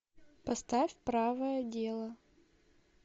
поставь правое дело